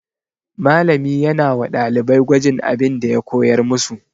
Malami yana wa ɗalibai gwajin abin da ya koyar musu.